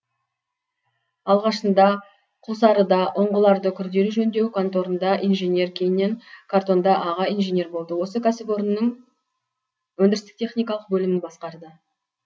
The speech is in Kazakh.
алғашында құлсарыда ұңғыларды күрделі жөндеу конторында инженер кейіннен қаратонда аға инженер болды осы кәсіпорынның өндірістік техникалық бөлімін басқарды